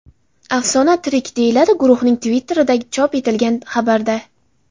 Afsona tirik”, deyiladi guruhning Twitter’ida chop etilgan xabarda.